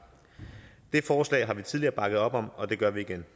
det forslag har vi tidligere bakket op om og det gør vi igen